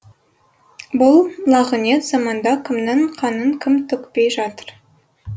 бұл лағынет заманда кімнің қанын кім төкпей жатыр